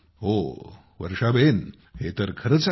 हो हे तर खरेच आहे